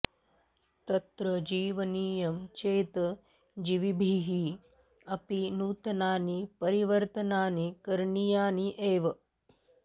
तत्र जीवनीयं चेत् जीविभिः अपि नूतनानि परिवर्तनानि करणीयानि एव